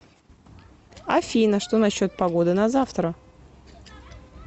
афина что насчет погоды на завтра